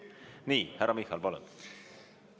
Nii, härra Michal, palun!